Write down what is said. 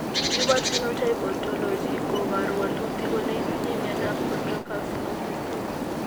Human Phenotype Ontology koporu wolutik kole itinye Miondap Chondrocalcinosis 2.